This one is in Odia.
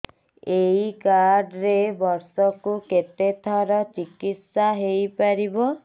ଏଇ କାର୍ଡ ରେ ବର୍ଷକୁ କେତେ ଥର ଚିକିତ୍ସା ହେଇପାରିବ